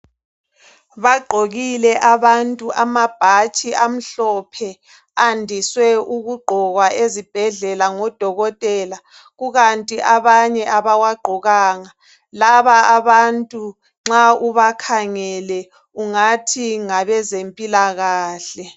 Bagqokike abantu amabhatshi amhlophe andiswe ukugqokwa ezibhedlela ngodokotela kukanti abanye abawagqokanga laba abantu nxa ubakhangele ungathi ngabezempilakahle.